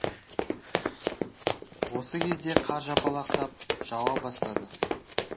осы кезде қар жапалақтап жауа бастады